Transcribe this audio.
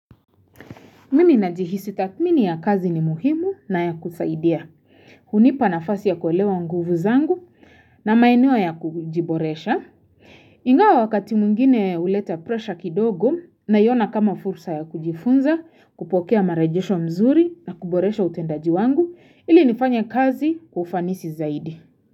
Mimi najihisi tathmini ya kazi ni muhimu na ya kusaidia. Hunipa nafasi ya kuelewa nguvu zangu na maeneo ya kujiboresha. Ingawa wakati mwingine huleta presha kidogo naiona kama fursa ya kujifunza kupokea marejesho mzuri na kuboresha utendaji wangu ili nifanye kazi kwa ufanisi zaidi.